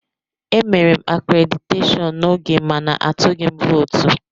Emere m akréditeshọọn n'oge mana atụghị m vootu.